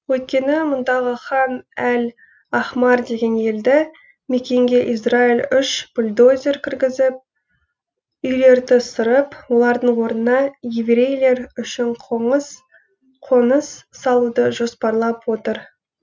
өйткені мұндағы хан әл ахмар деген елді мекенге израиль үш бульдозер кіргізіп үйлерді сырып олардың орнына еврейлер үшін қоныс салуды жоспарлап отыр